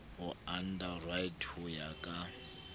ho underwriter ho ya ka